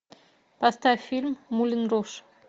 поставь фильм мулен руж